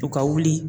U ka wuli